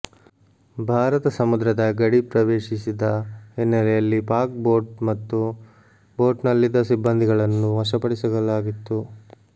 ಭಾರತ ಸಮುದ್ರದ ಗಡಿ ಪ್ರವೇಶಿಸಿದ ಹಿನ್ನೆಲೆಯಲ್ಲಿ ಪಾಕ್ ಬೋಟ್ ಮತ್ತು ಬೋಟ್ ನಲ್ಲಿದ್ದ ಸಿಬ್ಬಂದಿಗಳನ್ನು ವಶಪಡಿಸಲಾಗಿತ್ತು